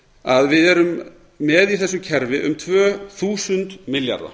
að við erum með í þessu kerfi um tvö þúsund milljarða